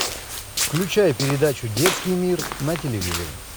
включай передачу детский мир на телевизоре